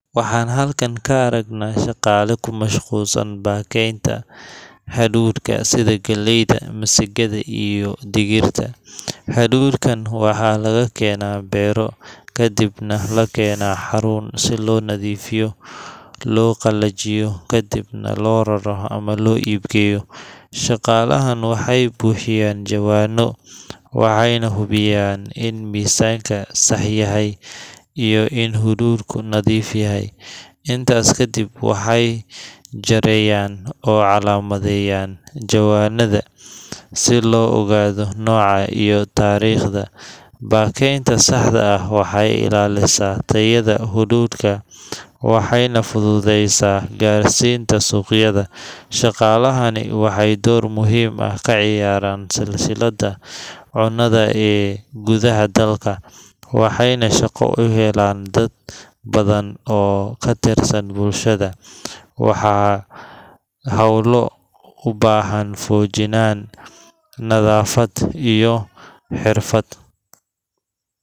Waxaan halkan ka aragnaa shaqaale ku mashquulsan baakaynta hadhuudhka sida galleyda, masagada, iyo digirta. Hadhuudhkan waxaa laga keenaa beero, kadibna la keenaa xarun si loo nadiifiyo, loo qalajiyo, kadibna loo raro ama loo iib geeyo. Shaqaalahan waxay buuxinayaan jawaanno, waxayna hubinayaan in miisaanka sax yahay iyo in hadhuudhku nadiif yahay. Intaas kadib, waxay jareeyaan oo calaamadeeyaan jawaanada si loo ogaado nooca iyo taariikhda. Baakaynta saxda ah waxay ilaalisaa tayada hadhuudhka waxayna fududeysaa gaarsiinta suuqyada. Shaqaalahani waxay door muhiim ah ka ciyaaraan silsiladda cunnada ee gudaha dalka, waxayna shaqo u helaan dad badan oo ka tirsan bulshada. Waa howlo u baahan feejignaan, nadaafad, iyo xirfad.